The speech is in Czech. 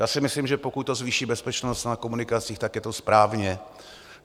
Já si myslím, že pokud to zvýší bezpečnost na komunikacích, tak je to správně.